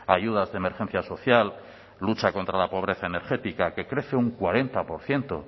ayudas de emergencia social lucha contra la pobreza energética que crece un cuarenta por ciento